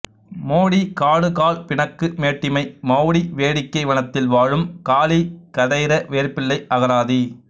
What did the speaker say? மோடி காடுகாள் பிணக்கு மேட்டிமை மெளடி வேடிக்கை வனத்தில் வாழும் காளி கதிைர வேற்பிள்ளை அகராதி